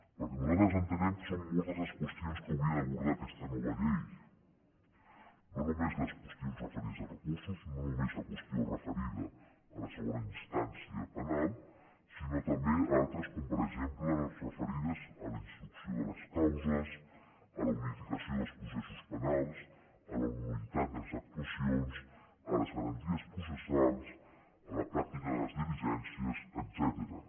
perquè nosaltres entenem que són moltes les qüestions que hauria d’abordar aquesta nova llei no només les qüestions referides a recursos no només la qüestió referida a la segona instància penal sinó també altres com per exemple les referides a la instrucció de les causes a la unificació dels processos penals a la nullitat de les actuacions a les garanties processals a la pràctica de les diligències etcètera